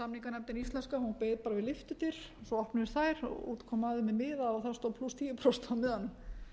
samninganefndin íslenska hún beið bara við lyftudyr svo opnuðust þær og út kom maður með miða og þar stóð tíu prósent á miðanum